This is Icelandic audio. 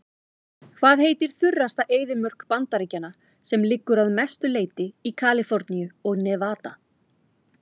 Hvað heitir þurrasta eyðimörk Bandaríkjanna sem liggur að mestu leyti í Kaliforníu og Nevada?